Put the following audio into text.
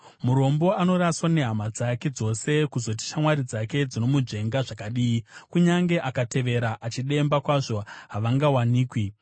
Murombo anoraswa nehama dzake dzose, kuzoti shamwari dzake, dzinomunzvenga zvakadii! Kunyange akavatevera achidemba kwazvo havangawanikwi.